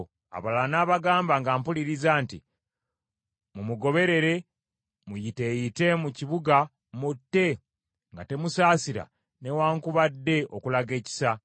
Abalala n’abagamba, nga mpuliriza nti, “Mumugoberere muyiteeyite mu kibuga mutte, nga temusaasira newaakubadde okulaga ekisa.